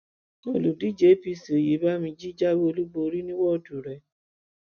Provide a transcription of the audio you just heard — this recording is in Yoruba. olùdíje apc oyebamiji jáwé olúborí ní wọ́ọ̀dù rẹ̀